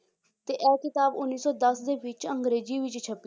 ਤੇ ਇਹ ਕਿਤਾਬ ਉੱਨੀ ਸੌ ਦਸ ਦੇ ਵਿੱਚ ਅੰਗਰੇਜ਼ੀ ਵਿੱਚ ਛਪੀ